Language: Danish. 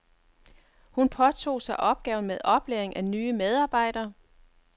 Hun påtog sig opgaven med oplæring af nye medarbejdere.